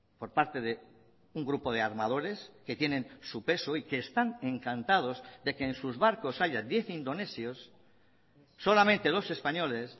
por parte de un grupo de armadores que tienen su peso hoy que están encantados de que en sus barcos haya diez indonesios solamente dos españoles